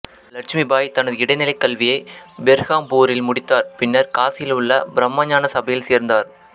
இலட்சுமிபாய் தனது இடைநிலைக் கல்வியை பெர்ஹாம்பூரில் முடித்தார் பின்னர் காசியில் உள்ள பிரம்மஞான சபையில் சேர்ந்தார்